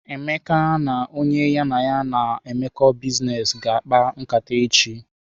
Emeka na onye ya na ya na emeko biznes ga akpa nkata eji.